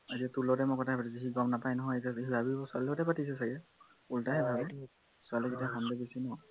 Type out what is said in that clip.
আজি তোৰ লগতে মই কথা পাতিছো সি গম নাপায় নহয় এতিয়া সি ভাবিব ছোৱালী লগত কথা পাতিছো ছাগে ওলটাহে ভাবে ছোৱালী যেতিয়া সন্দেহ বেছি ন